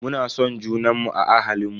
Muna son junanmu a ahalinmu.